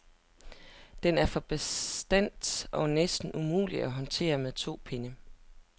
Den er for bastant og næsten umulig at håndtere med to pinde.